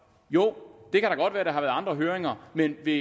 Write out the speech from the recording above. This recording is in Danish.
jo det kan da godt være at der har været andre høringer men vil